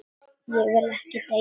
Ég vil ekki deyja.